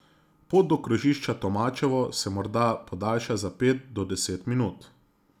Pot do krožišča Tomačevo se morda podajša za pet do deset minut.